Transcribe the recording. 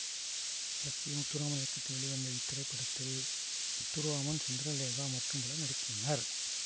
S P Muthuraman இயக்கத்தில் வெளிவந்த இத்திரைப்படத்தில் முத்துராமன் சந்திரலேகா மற்றும் பலரும் நடித்துள்ளனர்